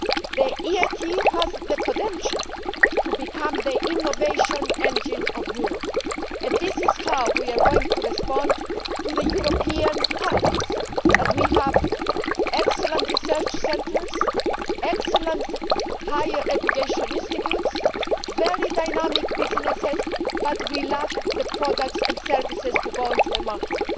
The EIT has the potential to become the innovation engine of Europe, and this is how we are going to respond to the European paradox that we have excellent research centres, excellent higher education institutes and very dynamic businesses, but we lack the products and services to go into the market.